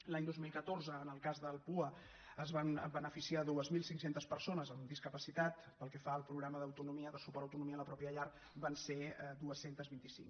l’any dos mil catorze en el cas del pua se’n van beneficiar dos mil cinc cents persones amb discapacitat pel que fa al programa d’autonomia de suport a l’autonomia a la pròpia llar van ser dos cents i vint cinc